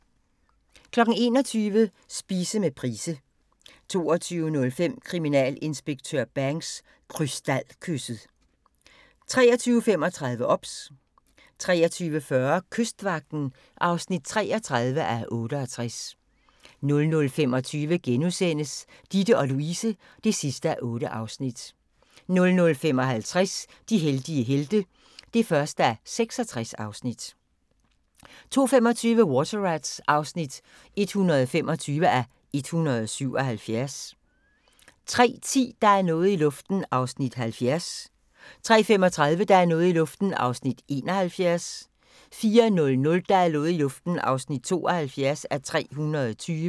21:00: Spise med Price 22:05: Kriminalinspektør Banks: Krystalkysset 23:35: OBS 23:40: Kystvagten (33:68) 00:25: Ditte & Louise (8:8)* 00:55: De heldige helte (1:66) 02:25: Water Rats (125:177) 03:10: Der er noget i luften (70:320) 03:35: Der er noget i luften (71:320) 04:00: Der er noget i luften (72:320)